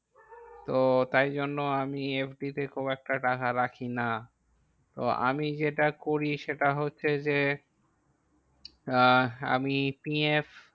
তো তাই জন্য আমি FD তে খুব একটা টাকা রাখি না। তো আমি যেটা করি সেটা হচ্ছে যে, আহ আমি PF